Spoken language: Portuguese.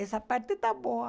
Essa parte está boa.